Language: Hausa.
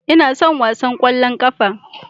Ina son wasan ƙwallon ƙafa